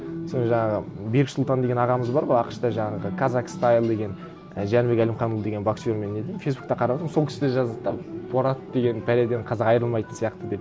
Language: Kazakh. сол жаңағы бексұлтан деген ағамыз бар ғой ақш та жаңағы казак стайл деген жәнібек әлімханұлы деген боксермен неден фейсбуктен қарадым сол кісі де жазады да борат деген бәледен қазақ айырылмайтын сияқты деп